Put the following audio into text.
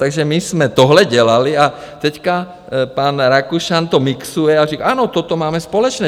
Takže my jsme tohle dělali a teď pan Rakušan to mixuje a říká ano, toto máme společné.